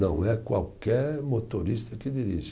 Não é qualquer motorista que dirige.